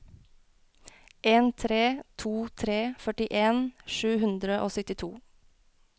en tre to tre førtien sju hundre og syttito